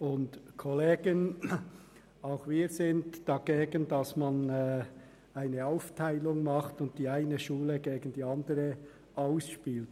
Auch wir sind dagegen, dass man eine Aufteilung vornimmt und die eine Schule gegen die andere ausspielt.